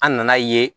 An nana ye